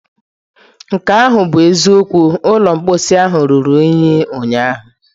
Nke ahụ bụ eziokwu, ụlọ mposi ruru unyi ụnyaahụ.